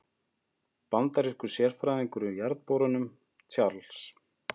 Bandarískur sérfræðingur í jarðborunum, Charles